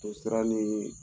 Toosira nii